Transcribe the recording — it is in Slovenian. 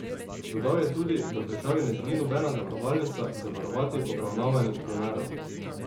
Dodal je tudi, da v državi ne želi nobena zavarovalnica zavarovati obravnavanih primerov.